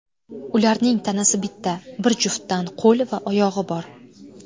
Ularning tanasi bitta, bir juftdan qo‘l va oyog‘i bor.